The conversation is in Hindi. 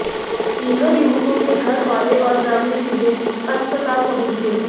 तीनों युवकों के घर वाले और ग्रामीण सीधे अस्पताल पहुंचे